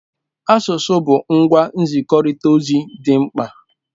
Asụsụ bụ ngwa nzikọrịta ozi dị mkpa.